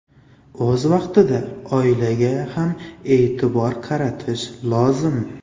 O‘z vaqtida oilaga ham e’tibor qaratish lozim.